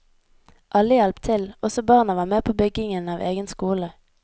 Alle hjalp til, også barna var med på byggingen av egen skole.